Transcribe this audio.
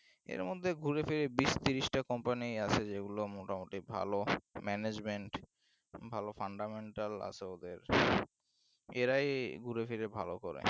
এর মধ্যে ঘুরেফিরে বিষ ত্রিশ টা company আছে যেগুলো মোটামুটি ভালো management ভালো fundamental আছে ওদের এরাই ঘুরেফিরে ভালো করে